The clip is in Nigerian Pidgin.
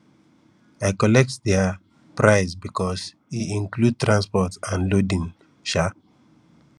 i collect their price because e include transport and loading um